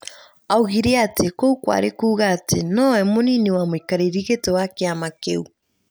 Oigire atĩ kou kwarĩ kuuga atĩ no we mũnini wa mũikarĩri gĩtĩ wa kĩama kĩu.